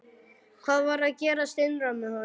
Hvað var að gerast innra með honum?